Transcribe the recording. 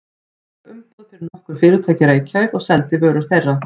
Hann fékk umboð fyrir nokkur fyrirtæki í Reykjavík og seldi vörur þeirra.